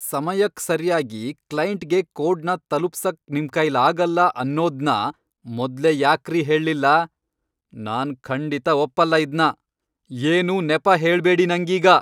ಸಮಯಕ್ ಸರ್ಯಾಗಿ ಕ್ಲೈಂಟ್ಗೆ ಕೋಡ್ನ ತಲುಪ್ಸಕ್ ನಿಮ್ಕೈಲಾಗಲ್ಲ ಅನ್ನೋದ್ನ ಮೊದ್ಲೇ ಯಾಕ್ರೀ ಹೇಳ್ಲಿಲ್ಲ?! ನಾನ್ ಖಂಡಿತ ಒಪ್ಪಲ್ಲ ಇದ್ನ, ಏನೂ ನೆಪ ಹೇಳ್ಬೇಡಿ ನಂಗೀಗ!